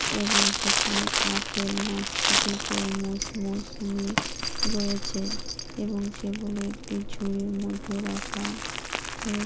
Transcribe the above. এবং সেখানে আপেল নাশপাতি তরমুজ মৌসুমী রয়েছে এবং সেগুলো একটি ঝুড়ির মধ্যে রাখা হয়ে--